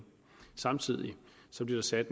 så blev nødt til at